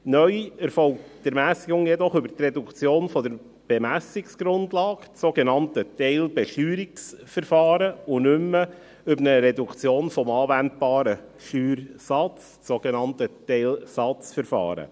Neu erfolgt die Ermässigung jedoch über die Reduktion der Bemessungsgrundlage, dem sogenannten Teilbesteuerungsverfahren, und nicht mehr über eine Reduktion des anwendbaren Steuersatzes, dem sogenannten Teilsatzverfahren.